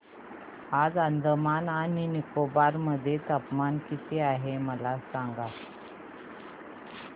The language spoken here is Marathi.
आज अंदमान आणि निकोबार मध्ये तापमान किती आहे मला सांगा